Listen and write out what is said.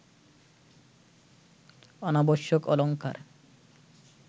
অনাবশ্যক অলঙ্কার